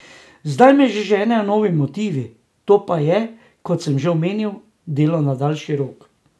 Zdaj me že ženejo novi motivi, to pa je, kot sem že omenil, delo na daljši rok.